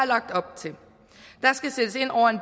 lagt op til der skal sættes ind over en